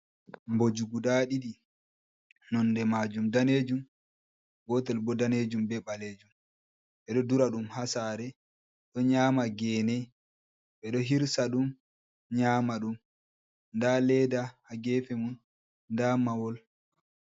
Mbooji guda ɗiɗi , nonnde maajum daneejum, gootel bo daneejum be ɓaleejum. Ɓe ɗo dura ɗum haa saare, ɗo nyaama geene, ɓe ɗo hirsa ɗum nyaama ɗum, nda leeda haa geefe mum da mahol.